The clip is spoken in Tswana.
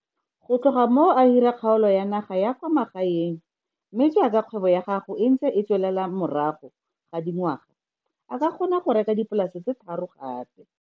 Go tloga moo a hira kgaolo ya naga ya kwa magaeng mme jaaka kgwebo ya gago e ntse e tswelela morago ga dingwaga, a kgona go reka dipolase tse tharo gape.